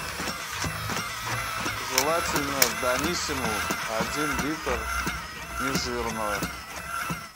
желательно даниссимо один литр нежирного